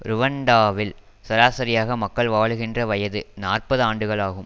ருவண்டாவில் சராசரியாக மக்கள் வாழுகின்ற வயது நாற்பது ஆண்டுகள் ஆகும்